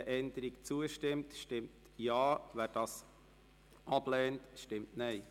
Wer dieser Änderung zustimmt, stimmt Ja, wer diese ablehnt, stimmt Nein.